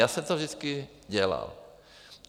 Já jsem to vždycky dělal.